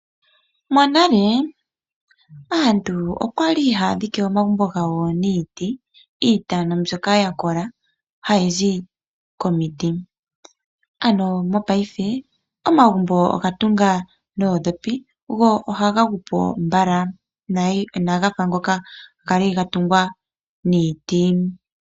Monale aantu okwa li haya dhike omagumbo gawo niiti mbyoka yakoka hayi zi komiti. Mopaife omagumbo oga tungwa noondhopi , go ohaga gu po mbala inaga fa ngoka okwali gatungwa niiti.